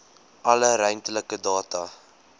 alle ruimtelike data